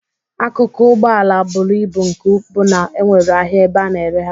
Akụkụ Ụgbọala buru ibu nke bụ na enwere ahịa ebe a na-ere ha.